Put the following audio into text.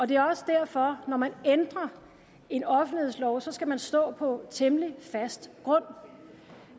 det er også derfor at når man ændrer en offentlighedslov skal man stå på temmelig fast grund